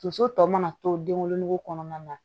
Tonso tɔ mana to den wolonugu kɔnɔna na